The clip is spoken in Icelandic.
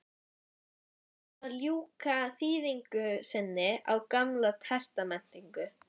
Hann er að ljúka þýðingu sinni á gamla testamentinu.